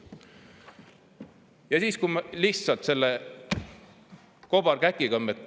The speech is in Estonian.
Me lihtsalt karistame selle kobarkäkiga oma inimesi.